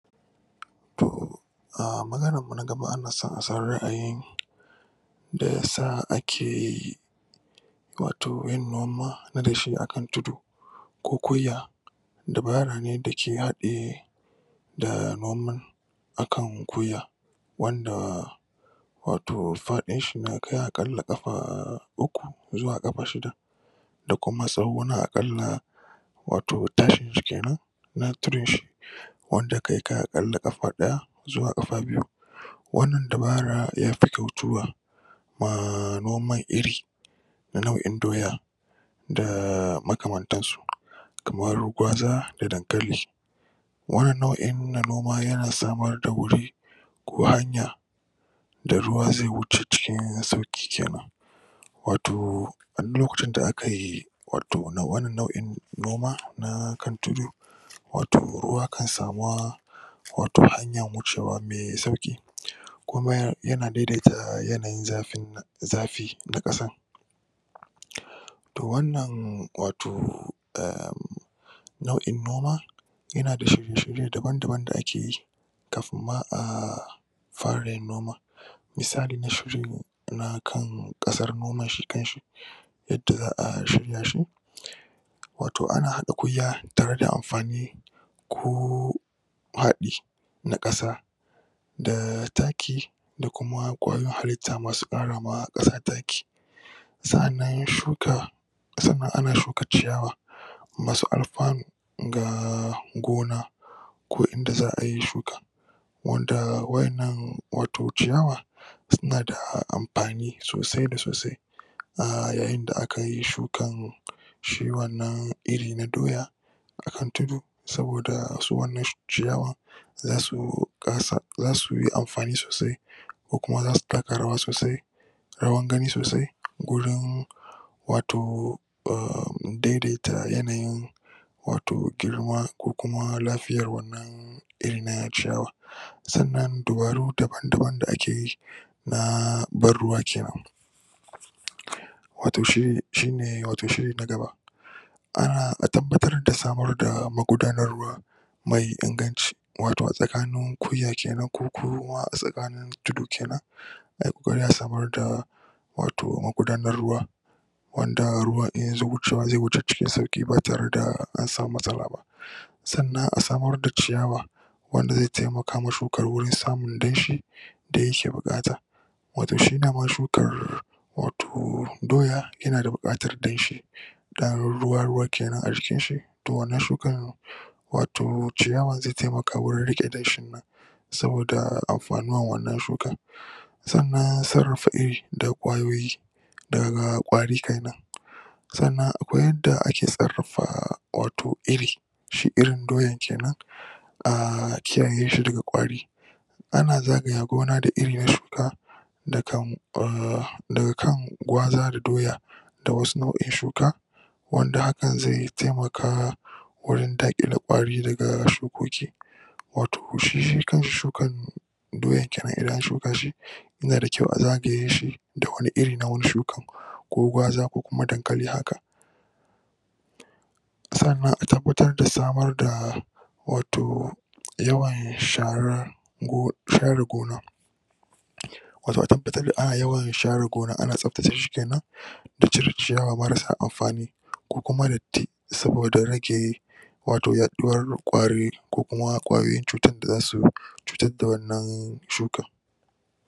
Toh um maganan mu na gaba ana so a san ra'ayin meyasa ake wato yin noma na dashe akan tudu ko dabara ne dake hade da noman akan wanda wato fadin shi ya kai akalla kafa uku zuwa kafa shida da kuma tsawo na akalla wato tashinshi kenan na tudun shi wanda kai akalla kafa daya zuwa kafa biyu wannan dabara yafi kyautuwa ma noman iri nau'in doya da makaman tansu kamar gwaza da dankali wannan nau'in na noma yana samar da guri ko hanya da ruwa zai wuce cikin sauki kenan wato a duk lokacin da a kayi wato wannan nau'in noma na kan tudu wato ruwa kan samuwa wato hanyan wucewa mai sauki kuma yana daidata yanayin zafin zafi na kasan toh wannan wato[um] nau'in noma yanada shirye-shirye daban daban da ake yi kafin ma ahh fara yin noman misalin na kan kasan noman shi kanshi yadda za'a shirya shi wato ana hada kurya tare da amfani ko fadi na kasa da taki da kuma kwayoyin hallita masu kara ma kasa taki sa'an shuka sannan ana shuka ciyawa masu alfanu ga gona ko inda za'a yi shuka wanda wa'annan wato ciyawa sunada amfani sosai da sosai a yayin da akayi shukan shi wannan iri na doya a kan tudu saboda su wannan ciyawan zasu zasuyi amfani sosai ku kuma zasu taka rawa sosai rawan gani sosai gurin wato um daidata yanayin wato girma ko kuma lafiyan wannan irin na ciyawa sannan dabaru daban-daban da akeyi na ban ruwa kenan wato shi shi ne wato shiri na gaba a tabbatra da samar da magudanar wa mai inganci wato a tsakanin kurya kenan ko kuma a tsakin tudu kenan ai kokari a samar da wato magudanarwa wanda ruwa in yazo wucewa zai wuce cikin sauki ba tareda an sama matsala ba sannan a samar da ciyawa wanda zai taimaka ma shuka wajen samun danshi da yake bukata wato shi dama shukar wato doya yana da bukatar danshi dan ruwa ruwa kenan a jikinshi to wannan shukan wato ciyawan zai taimaka wajen rike danshin nan saboda amfani wannan shukan sannan sun da kwayoyi daga kwari kenan sannan akwai yadda ake sarrafa wato iri shi irin doyan kenan a kiyaye shi daga kwari ana zagaye gona da irin na shuka dakan em daga kan gwaza da doya da wasu nau'in shuka wanda hakan zai taimaka gurin dakile kwari daga shukuki wato shi kanshi shukan doyan kenan idan an shuka shi yana da kyau a zagaye shi da wani iri na wani shukan ko gwaza ko kuma dankali haka sannan a tabbatar da samar da wato yawan shara share gona yawan share gona ana tsabtace shi kenan da cire ciyawa marasa amfani ko kuma datti saboda rage wato yaduwar kwari ko kuma kwayoyin cutar da za su cutar da wannan shukan